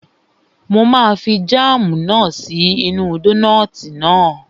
Mo máa fi jáàmù náà sí inú dónààtì náà